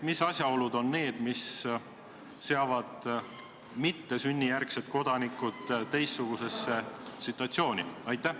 Mis asjaolud need on, mis seavad mittesünnijärgsed kodanikud teistsugusesse situatsiooni?